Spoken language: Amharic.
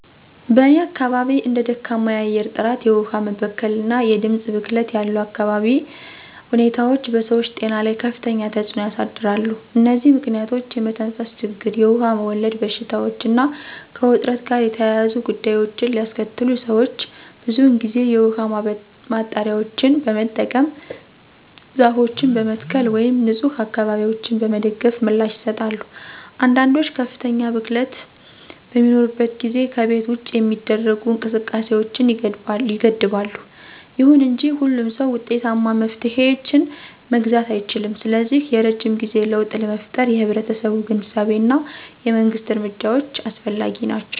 በእኔ አካባቢ እንደ ደካማ የአየር ጥራት፣ የውሃ መበከል እና የድምፅ ብክለት ያሉ የአካባቢ ሁኔታዎች በሰዎች ጤና ላይ ከፍተኛ ተጽዕኖ ያሳድራሉ። እነዚህ ምክንያቶች የመተንፈስ ችግር, የውሃ ወለድ በሽታዎች እና ከውጥረት ጋር የተያያዙ ጉዳዮችን ሊያስከትሉ ሰዎች ብዙውን ጊዜ የውሃ ማጣሪያዎችን በመጠቀም፣ ዛፎችን በመትከል ወይም ንፁህ አካባቢዎችን በመደገፍ ምላሽ ይሰጣሉ። አንዳንዶች ከፍተኛ ብክለት በሚኖርበት ጊዜ ከቤት ውጭ የሚደረጉ እንቅስቃሴዎችን ይገድባሉ። ይሁን እንጂ ሁሉም ሰው ውጤታማ መፍትሄዎችን መግዛት አይችልም, ስለዚህ የረጅም ጊዜ ለውጥ ለመፍጠር የህብረተሰቡ ግንዛቤ እና የመንግስት እርምጃዎች አስፈላጊ ናቸው.